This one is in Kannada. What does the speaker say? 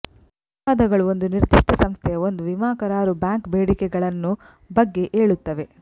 ವಿವಾದಗಳು ಒಂದು ನಿರ್ದಿಷ್ಟ ಸಂಸ್ಥೆಯ ಒಂದು ವಿಮಾ ಕರಾರು ಬ್ಯಾಂಕ್ ಬೇಡಿಕೆಗಳನ್ನು ಬಗ್ಗೆ ಏಳುತ್ತವೆ